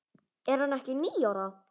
Er hann ekki níu ára?